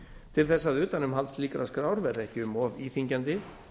til þess að utanumhald slíkrar skrár verði ekki um of íþyngjandi